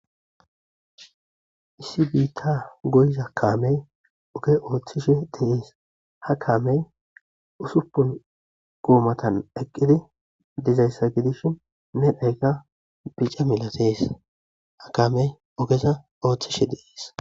Issi biiththaa goyiza kaamee oge ooththishee de7ees;ha kaamee usuppun goomathan eqqidi dizayssa gidishin medhoykka bice milathes;ha kaamee ogeza ooththishee de7ees.